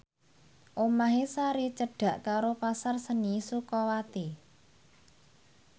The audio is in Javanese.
omahe Sari cedhak karo Pasar Seni Sukawati